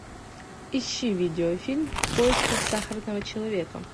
ищи видеофильм в поисках сахарного человека